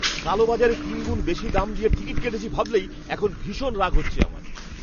কালো বাজারে তিনগুণ বেশি দাম দিয়ে টিকিট কেটেছি ভাবলেই এখন ভীষণ রাগ হচ্ছে আমার।